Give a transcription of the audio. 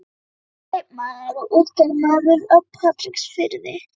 Hann er kaupmaður og útgerðarmaður á Patreksfirði.